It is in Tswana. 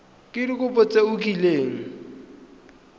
ka dikopo tse o kileng